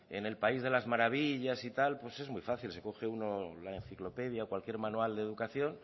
en el país de las maravillas y tal pues es muy fácil se coge uno la enciclopedia o cualquier manual de educación